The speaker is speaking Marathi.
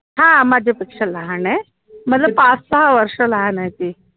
हा माझ्यापेक्षा लहान आहे पाच सहा वर्ष लहान आहे ती